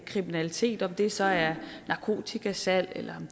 kriminalitet om det så er narkotikasalg eller